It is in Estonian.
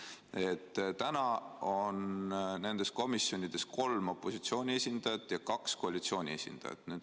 Nimelt, praegu on nendes komisjonides kolm opositsiooni esindajat ja kaks koalitsiooni esindajat.